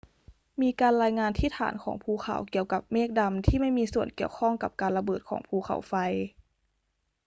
มีการรายงานที่ฐานของภูเขาเกี่ยวกับเมฆดำที่ไม่มีส่วนเกี่ยวข้องกับการระเบิดของภูเขาไฟ